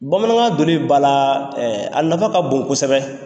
Bamanankan doli ba la a nafa ka bon kosɛbɛ